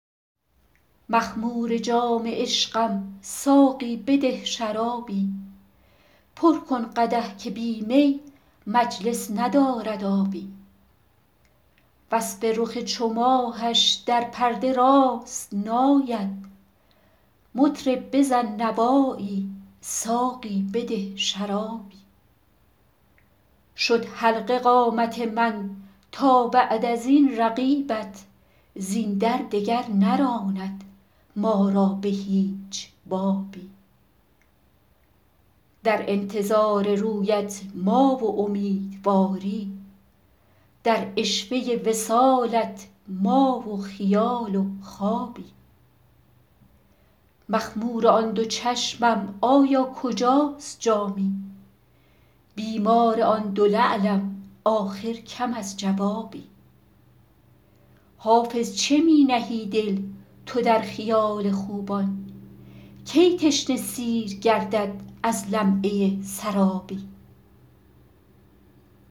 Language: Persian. مخمور جام عشقم ساقی بده شرابی پر کن قدح که بی می مجلس ندارد آبی وصف رخ چو ماهش در پرده راست نآید مطرب بزن نوایی ساقی بده شرابی شد حلقه قامت من تا بعد از این رقیبت زین در دگر نراند ما را به هیچ بابی در انتظار رویت ما و امیدواری در عشوه وصالت ما و خیال و خوابی مخمور آن دو چشمم آیا کجاست جامی بیمار آن دو لعلم آخر کم از جوابی حافظ چه می نهی دل تو در خیال خوبان کی تشنه سیر گردد از لمعه سرابی